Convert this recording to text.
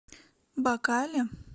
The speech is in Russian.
бакале